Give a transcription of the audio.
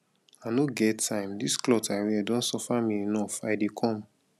i no get time dis cloth i wear don suffer me enough i dey come.